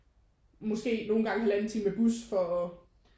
Måske nogle gange halvanden time med bus for at